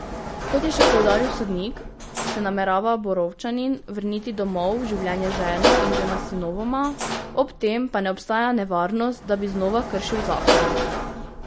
Kot je še poudaril sodnik, se namerava Borovčanin vrniti domov v življenje z ženo in dvema sinovoma, ob tem pa ne obstaja nevarnost, da bi znova kršil zakon.